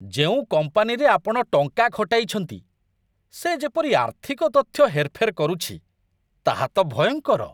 ଯେଉଁ କମ୍ପାନୀରେ ଆପଣ ଟଙ୍କା ଖଟାଇଛନ୍ତି, ସେ ଯେପରି ଆର୍ଥିକ ତଥ୍ୟ ହେରଫେର କରୁଛି, ତାହା ତ ଭୟଙ୍କର।